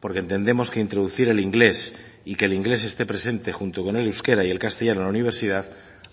porque entendemos que introducir el inglés y que el inglés esté presente junto con el euskera y el castellano en la universidad